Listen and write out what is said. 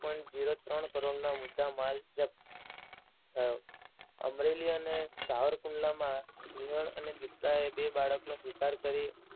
point zero ત્રણ કરોડનો મુદ્દા માલ જપ્ત થયો. અમરેલી અને સાવરકુંડલામાં સિંહણ અને ચિત્તાએ બે બાળકોનો શિકાર કરી